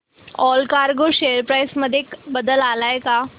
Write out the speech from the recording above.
Allcargo share price मध्ये बदल आलाय का